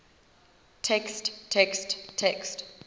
text text text